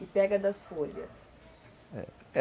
E pega das folhas, é